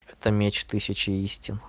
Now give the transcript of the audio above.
это меч тысячи истин